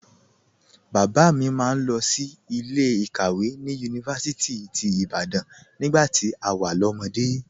Bàbá mi máa ń lọ sí ilé ìkàwé ní Yunifásítì ti Ibadan nígbà tí a wà lọ́mọde